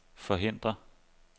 forhindre